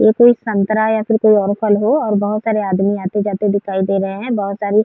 ये कोई संतरा या और फिर कोई फल हो और बहोत सारे आदमी आते जाते दिखाई दे रहे हैं। बहोत सारी --